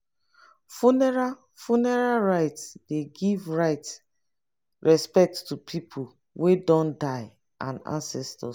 funeral funeral rites dey give respect to pipo wey don die and ancestors